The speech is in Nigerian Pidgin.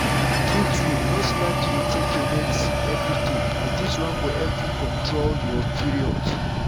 true-true no slack to dey take your medicines everyday as this one go help you control your period.